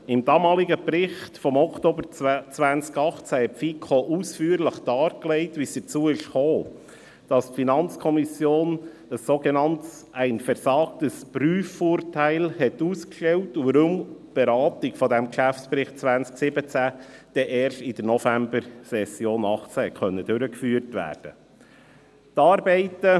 In ihrem damaligen Bericht vom Oktober 2018 legte die FiKo ausführlich dar, wie es dazu kam, dass die Finanzkontrolle ein sogenannt «versagtes» Prüfurteil ausstellte und die Beratung des Geschäftsberichts 2017 erst in der Novembersession 2018 durchgeführt werden konnte.